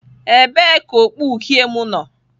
Ebee ka okpu uhie m nọ?